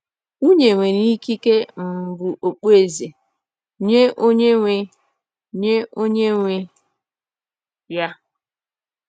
“Nwunye nwere ikike um bụ okpueze nye onye nwe nye onye nwe ya”